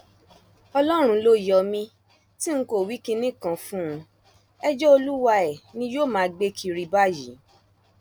ọlọrun ló yọ mí tí n kò wí kinní kan fún un ẹjọ olúwae ni yóò máa gbé kiri báyìí